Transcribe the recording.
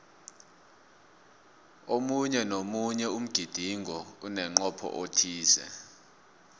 omunye nomunye umgidingo unemncopho othize